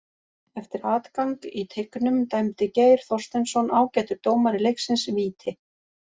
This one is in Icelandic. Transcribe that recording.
Eftir atgang í teignum dæmdi Geir Þorsteinsson, ágætur dómari leiksins, víti.